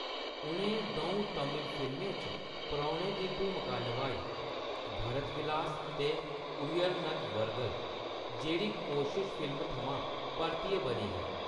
उʼनें दʼऊं तमिल फिल्में च परौह्‌‌ने दी भूमका नभाई, भरत विलास ते उयर्नदवरगल, जेह्‌‌ड़ी कोशिश फिल्म थमां परतियै बनी ही।